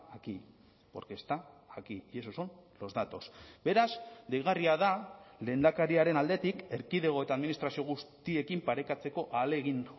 aquí porque está aquí y esos son los datos beraz deigarria da lehendakariaren aldetik erkidego eta administrazio guztiekin parekatzeko ahalegin